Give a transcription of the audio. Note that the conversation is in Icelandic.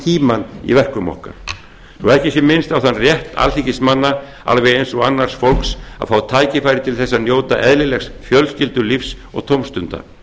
tímann í verkum okkar svo að ekki sé minnst á þann rétt alþingismanna alveg eins og annars fólks að fá tækifæri til að njóta eðlilegs fjölskyldulífs og tómstunda